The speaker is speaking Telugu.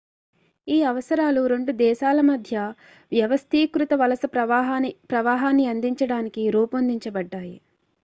ఈ అవసరాలు రెండు దేశాల మధ్య వ్యవస్థీకృత వలస ప్రవాహాన్ని అందించడానికి రూపొందించబడ్డాయి